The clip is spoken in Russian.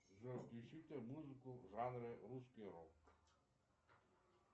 джой включите музыку в жанре русский рок